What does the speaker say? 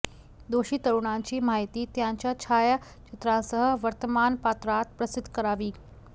दोषी तरुणांची माहिती त्यांच्या छायाचित्रांसह वर्तमानपत्रात प्रसिद्ध करावी